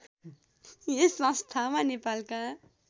यस संस्थामा नेपालका